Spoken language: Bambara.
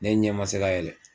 Ne ɲɛ ma se ka yɛlɛ